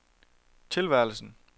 tilværelsen